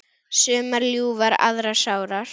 Sumar ljúfar aðrar sárar.